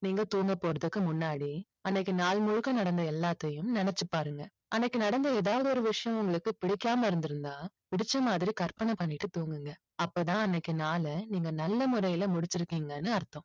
நீங்க தூங்க போறதுக்கு முன்னாடி அன்னைக்கு நாள் முழுக்க நடந்த எல்லாத்தையும் நினைச்சு பாருங்க. அன்னைக்கு நடந்த ஏதாவது ஒரு விஷயம் உங்களுக்கு பிடிக்காம இருந்திருந்தா புடிச்ச மாதிரி கற்பனை பண்ணிட்டு தூங்குங்க. அப்பதான் அன்னைக்கு நாளை நீங்கள் நல்ல முறையில் முடிச்சு இருக்கீங்கன்னு அர்த்தம்.